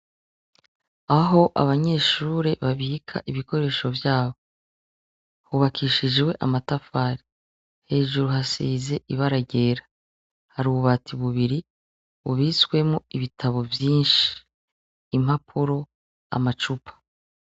Aho abanyeshure babika ibikoresho vyabo, hubakishijwe amatafari, hejuru hasize ibara ryera , hari ububati bubiri ,bubitswemwo ibitabo vyinshi, impapuro, amacupa.